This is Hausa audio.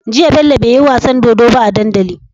Jiya bello beyi wasan dodo ba a dandali